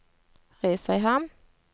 Risøyhamn